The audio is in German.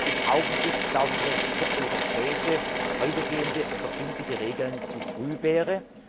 Im Augenblick glauben wir, dass es für europäische, weitergehende, verbindliche Regeln zu früh wäre.